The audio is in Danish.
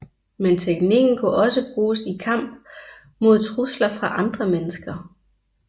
Men teknikken kunne også bruges i kamp mod trusler fra andre mennesker